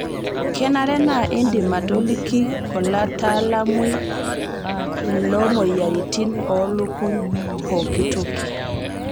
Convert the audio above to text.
Kenare naa indim atoliki olataalamui loomoyiaritin oolukuny pookitoki.